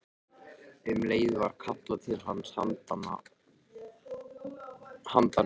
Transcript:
Um leið var kallað til hans handan götunnar.